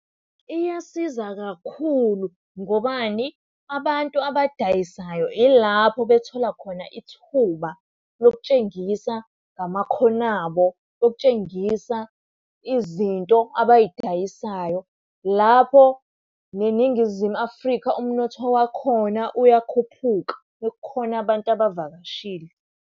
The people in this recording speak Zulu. Iyasiza kakhulu ngobani, abantu abadayisayo ilapho bethola khona ithuba lokutshengisa ngamakhono abo, lokutshengisa izinto abay'dayisayo. Lapho neNingizimu Afrika umnotho wakhona uyakhuphuka uma kukhona abantu abavakashile.